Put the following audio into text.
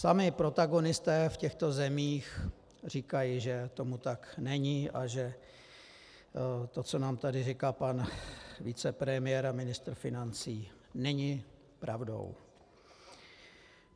Sami protagonisté v těchto zemích říkají, že tomu tak není a že to, co nám tady říká pan vicepremiér a ministr financí, není pravdou.